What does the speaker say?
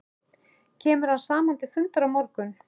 Kemur hann saman til fundar á morgun?